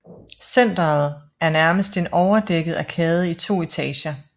Centeret er nærmest en overdækket arkade i to etager